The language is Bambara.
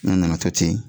N'a nana to ten